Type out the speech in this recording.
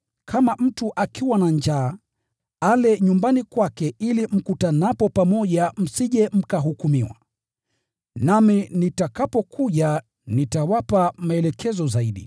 Kama mtu akiwa na njaa, ale nyumbani kwake ili mkutanapo pamoja msije mkahukumiwa. Nami nitakapokuja nitawapa maelekezo zaidi.